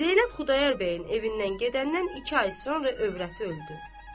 Zeynəb Xudayar bəyin evindən gedəndən iki ay sonra övrəti öldü.